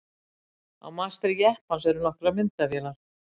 Á mastri jeppans eru nokkrar myndavélar.